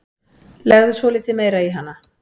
Legðu svolítið meira í hana.